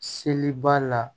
Seli b'a la